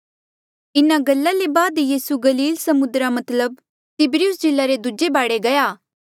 इन्हा गल्ला ले बाद यीसू गलील समुद्रा मतलब तिब्रियुस झीला रे दूजे बाढे गया